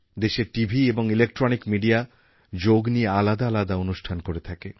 দেশের টিভি এবং electronic media যোগ নিয়ে আলাদা আলাদা অনুষ্ঠান করে থাকে